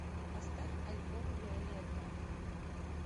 поставь альбом виолетта